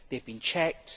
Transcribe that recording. They have been checked.